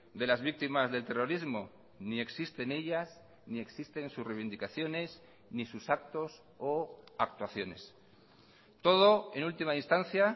de las víctimas del terrorismo ni existen ellas ni existen sus reivindicaciones ni sus actos o actuaciones todo en última instancia